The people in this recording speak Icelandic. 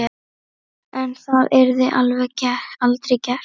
En það yrði aldrei gert.